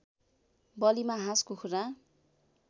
बलीमा हाँस कुखुरा